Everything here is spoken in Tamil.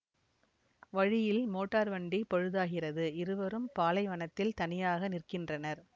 வழியில் மோட்டார் வண்டி பழுதாகிறது இருவரும் பாலைவனத்தில் தனியாக நிற்கின்றனர்